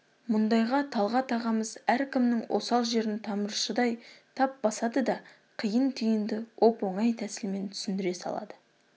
мұндайда талғат ағамыз әркімнің осал жерін тамыршыдай тап басады да қиын-түйінді оп-оңай тәсілмен түсіндіре салады